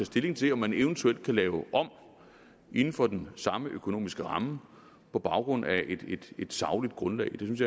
stilling til om man eventuelt kan lave om inden for den samme økonomiske ramme på baggrund af et sagligt grundlag det synes